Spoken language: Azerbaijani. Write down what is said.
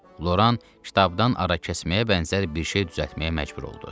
Loran ştabdan arakəsməyə bənzər bir şey düzəltməyə məcbur oldu.